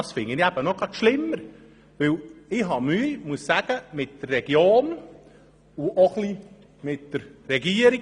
Das finde ich eben gerade noch schlimmer, und ich habe Mühe mit der Region und auch mit der Regierung.